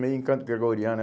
Meio em canto gregoriano